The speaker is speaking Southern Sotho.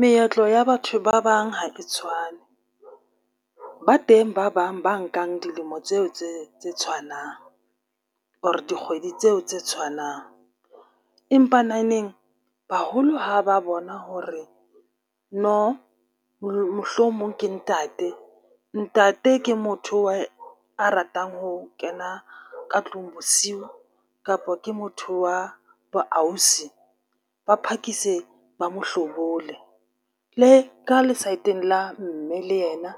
Meetlo ya batho ba bang ha e tshwane ba teng ba bang ba nkang dilemo tseo tse tse tshwanang or dikgwedi tseo tse tshwanang. Empaneneng baholo ha ba bona hore no mohlomong ke ntate, ntate ke motho a ratang ho kena ka tlung bosiu kapa ke motho wa boausi ba phakise ba mo hlobole. Le ka le saeteng la mme le yena